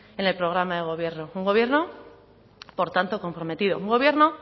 en el programa de gobierno un gobierno por tanto comprometido un gobierno